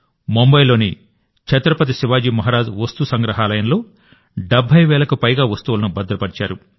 ముంబాయిలోని ఛత్రపతి శివాజీ మహారాజ్ వస్తు సంగ్రహాలయంలో 70 వేలకు పైగా వస్తువులను భద్రపర్చారు